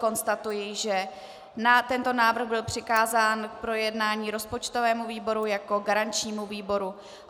Konstatuji, že tento návrh byl přikázán k projednání rozpočtovému výboru jako garančnímu výboru.